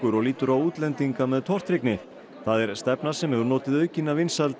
og lítur á útlendinga með tortryggni það er stefna sem hefur notið aukinna vinsælda